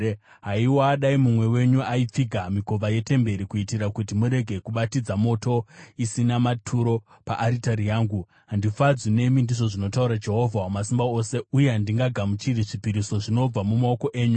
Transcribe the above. “Haiwa, dai mumwe wenyu aipfiga mikova yetemberi, kuitira kuti murege kubatidza moto isina maturo paaritari yangu! Handifadzwi nemi,” ndizvo zvinotaura Jehovha Wamasimba Ose, “uye handingagamuchiri zvipiriso zvinobva mumaoko enyu.